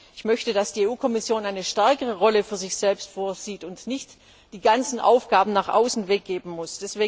Ich möchte, dass die Kommission eine stärkere Rolle für sich selbst vorsieht und nicht die ganzen Aufgaben nach außen weggeben muss.